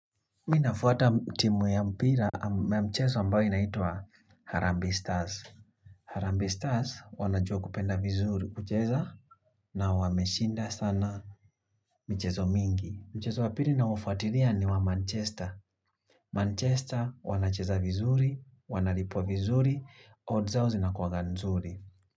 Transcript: Mi nafuata timu ya mpira mchezo ambayo inaitwa Harambee Stars. Harambee Stars wanajua kupenda vizuri kucheza na wameshinda sana mchezo mingi. Mchezo wa pili naufuatilia ni wa Manchester. Manchester wanacheza vizuri, wanalipwa vizuri, odds au zinakuwanga nzuri.